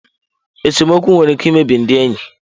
Esemokwu nwere ike imebi ndị enyi.